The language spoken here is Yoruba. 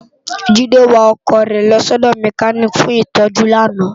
Jide wá òkò re lò si òdò mèkánikí fún itòjú làná